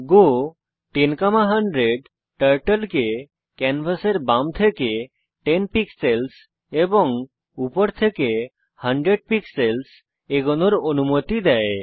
গো 10100 turtle কে ক্যানভাসের বাম থেকে 10 পিক্সেলস এবং উপর থেকে 100 পিক্সেলস এগোনোর অনুমতি দেয়